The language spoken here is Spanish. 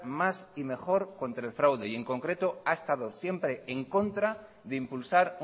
más y mejor contra el fraude y en concreto ha estado siempre en contra de impulsar